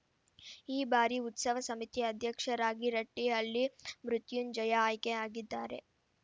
ಈ ಬಾರಿ ಉತ್ಸವ ಸಮಿತಿ ಅಧ್ಯಕ್ಷರಾಗಿ ರಟ್ಟಿಹಳ್ಳಿ ಮೃತ್ಯುಂಜಯ ಆಯ್ಕೆ ಆಗಿದ್ದಾರೆ